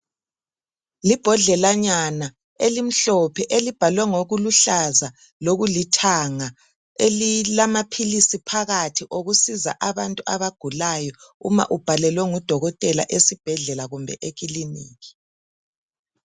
Libhodlelanyana elimhlophe elibhalwe ngokuluhlaza lokulithanga elilamaphilisi phakathi okusiza abantu abagulayo uma ubhalelwe ngudokotela esibhedlela kumbe ekiliniki .